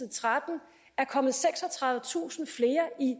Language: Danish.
og tretten er kommet seksogtredivetusind flere i